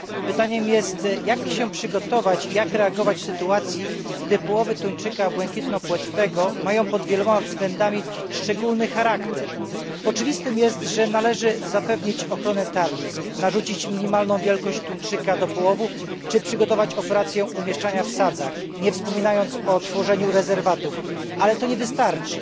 Pytanie brzmi, jak się przygotować i jak reagować w sytuacji, gdy połowy tuńczyka błękitnopłetwego mają pod wieloma względami szczególny charakter. Jest oczywiste, że należy zapewnić ochronę tarlisk, narzucić minimalną wielkość tuńczyka do połowu czy przygotować operacje umieszczania w sadzach, nie wspominając o tworzeniu rezerwatów, ale to nie wystarczy.